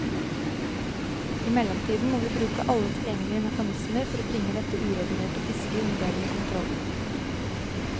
I mellomtiden må vi bruke alle tilgjengelige mekanismer for bringe dette uregulerte fisket under bedre kontroll.